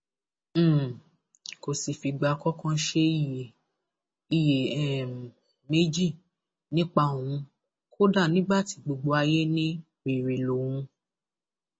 um kò sì fìgbà kankan ṣe iyè iyè um méjì nípa òun kódà nígbà tí gbogbo ayé ní wẹrẹ lòun